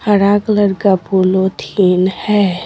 हरा कलर का पोलोथीन है।